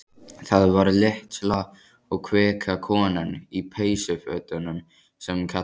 Það var litla og kvika konan í peysufötunum sem kallaði.